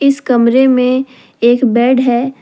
इस कमरे में एक बेड है।